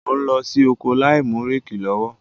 Ó ń lọ sí oko láìmú réèkì lọ́wọ́.